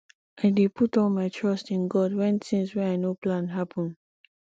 i dey put all my trust in god wen tins wey i no plan happen